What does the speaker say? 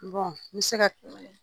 N bɛ se ka,